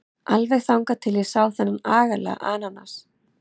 Alveg þangað til ég sá þennan agalega ananas.